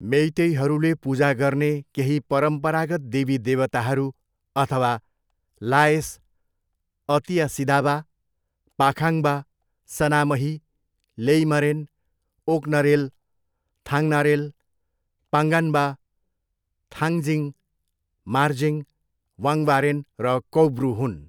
मेइतेईहरूले पूजा गर्ने केही परम्परागत देवी देवताहरू अथवा लाएस, अतिया सिदाबा, पाखाङ्बा, सनामही, लेइमरेन, ओक्नरेल, थाङनारेल, पाङ्गान्बा, थाङजिङ, मार्जिङ, वाङबारेन र कौब्रु हुन्।